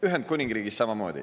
Ühendkuningriigis samamoodi.